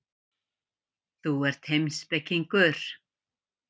Þú ert heimspekingur.